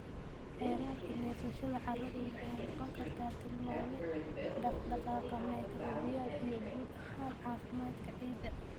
Heerarka neefsashada carradu waxay noqon kartaa tilmaame dhaqdhaqaaqa microbial iyo guud ahaan caafimaadka ciidda.